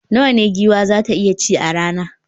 Nawa ne giwa za ta iya ci a rana?